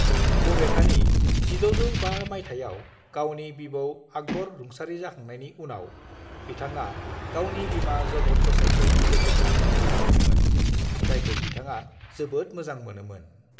"बबेखानि, 1605 माइथाइयाव गावनि बिबौ आकबर रुंसारि जाखांनायनि उनाव, बिथाङा गावनि बिमा जगत गसाईंखौ जोथोन लानो फैफिनदोंमोन, जायखौ बिथाङा जोबोद मोजां मोनोमोन।"